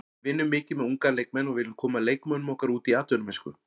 Við vinnum mikið með unga leikmenn og viljum koma leikmönnum okkar út í atvinnumennsku.